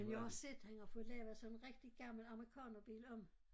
Men jeg har også set han har fået lavet sådan en rigtig gammel amerikanerbil om